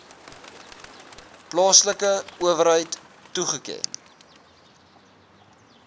plaaslike owerheid toegeken